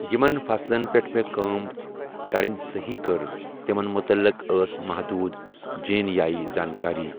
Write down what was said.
یِمن فصلن پٮ۪ٹھ مےٚ کٲم کَرٕنۍ صٔحی کٔر تِمن مُتعلِق ٲس محدوٗد جیٖن یٲیی زانٛکٲری'۔